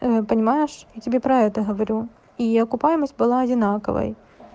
понимаешь я тебе про это говорю и окупаемость была одинаковой